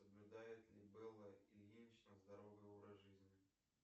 соблюдает ли белла ильинична здоровый образ жизни